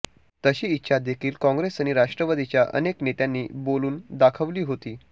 तशी इच्छा देखील काँग्रेस आणि राष्ट्रवादीच्या अनेक नेत्यांनी बोलून दाखवली होती